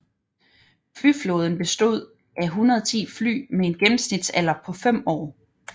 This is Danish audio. Flyflåden bestod af 110 fly med en gennemsnitsalder på 5 år